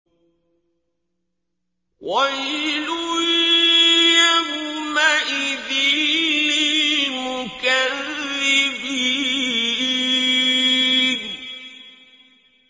وَيْلٌ يَوْمَئِذٍ لِّلْمُكَذِّبِينَ